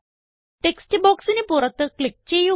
text ബോക്സിന് പുറത്ത് click ചെയ്യുക